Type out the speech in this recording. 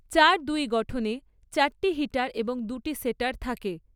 চার দুই গঠনে চারটি হিটার এবং দুটি সেটার থাকে।